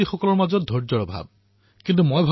কিন্তু মই ভাবোঁ যে যুৱসমাজৰ সময় নষ্ট কৰাৰ বাবে সময় নাই